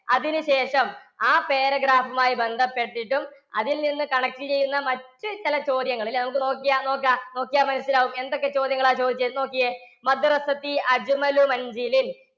അതിനുശേഷം ആ paragraph മായി ബന്ധപ്പെട്ടിട്ടും അതിൽനിന്ന് connect ചെയ്യുന്ന മറ്റു ചില ചോദ്യങ്ങൾ ഇല്ലേ നോക്കിയേ, നമുക്ക് നോക്കാം, നോക്കിയാൽ മനസ്സിലാകും എന്തൊക്കെ ചോദ്യങ്ങളാണ് ചോദിച്ചത്? നോക്കിയേ